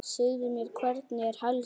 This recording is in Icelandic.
Segðu mér, hvernig er helgin?